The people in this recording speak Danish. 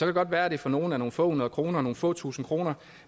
det godt være at det for nogle er nogle få hundrede kroner eller nogle få tusinde kroner